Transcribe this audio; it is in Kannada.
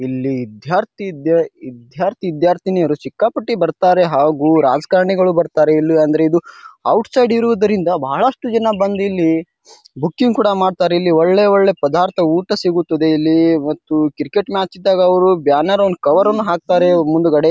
ಇಲ್ಲಿ ವಿದ್ಯಾರ್ಥಿ ಇದ್ಯೆ ವಿದ್ಯಾರ್ಥಿ-ವಿದ್ಯಾರ್ಥಿನಿಯರು ಸಿಕ್ಕಾಪಟ್ಟೆ ಬರತ್ತಾರೆ ಹಾಗು ರಾಜಕಾರಣಿಗಳು ಬರತ್ತಾರೆ. ಇಲ್ಲಿ ಅಂದ್ರೆ ಇದು ಔಟ್ ಸೈಡ್ ಇರೋದ್ರಿಂದ ಬಹಳಷ್ಟು ಜನ ಬಂದ್ ಇಲ್ಲಿ ಬುಕಿಂಗ್ ಕೂಡ ಮಾಡ್ತರ್. ಇಲ್ಲಿ ಒಳ್ಳೆ-ಒಳ್ಳೆ ಪದಾರ್ಥ ಊಟ ಸಿಗುತ್ತದೆ ಇಲ್ಲಿ ಮತ್ತು ಕ್ರಿಕೆಟ್ ಮ್ಯಾಚ್ ಇದ್ದಾಗ ಅವ್ರು ಬ್ಯಾನರ್ ಅವನ್ ಕವರ್ ಅನ ಹಾಕತ್ತರೆ ಮುಂದಗಡೆ.